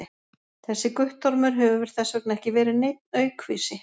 þessi guttormur hefur þess vegna ekki verið neinn aukvisi!